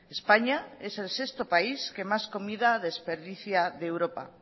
españa es el sexto país que más comida desperdicia de europa